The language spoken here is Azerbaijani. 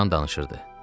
Loran danışırdı.